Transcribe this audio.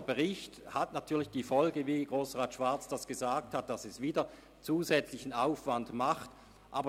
Ein erneuter Bericht hat natürlich zur Folge, dass zusätzlicher Aufwand erzeugt wird, wie Grossrat Schwarz erwähnt hat.